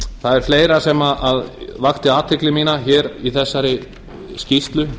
það er fleira sem vakti athygli mína hér í þessari skýrslu